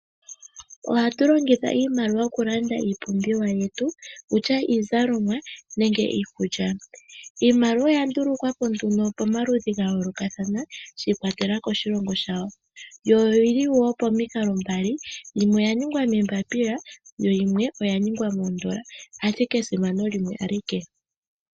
Ohatu longitha iimaliwa oku landa iipumbiwa yetu kutya iizalomwa nenge iikulya. Iimaliwa oya ndulukwapo nduno pomaludhi ga yoolokathana, shi ikwatelela koshilongo shawo. Yo oyi li wo pomikalo mbali yimwe oya ningwa moombapila yo yimwe oya ningwa moondola. Ashike esimano limwe alike.